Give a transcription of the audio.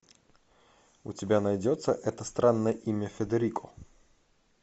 у тебя найдется это странное имя федерико